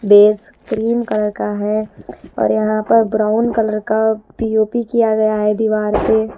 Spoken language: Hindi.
बेस क्रीम कलर का है और यहाँ पर ब्राउन कलर का पी_ओ_पी किया गया है दीवार पे--